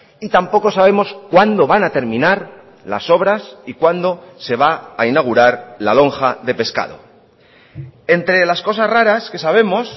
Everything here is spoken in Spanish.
y tampoco sabemos cuándo van a terminar las obras y cuándo se va a inaugurar la lonja de pescado entre las cosas raras que sabemos